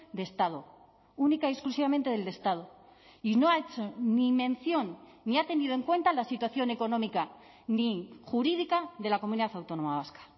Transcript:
de estado única y exclusivamente del estado y no ha hecho ni mención ni ha tenido en cuenta la situación económica ni jurídica de la comunidad autónoma vasca